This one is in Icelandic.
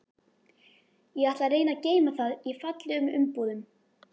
Ég ætla að reyna að geyma það í fallegum umbúðum.